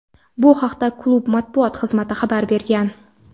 Bu haqda klub matbuot xizmati xabar bergan.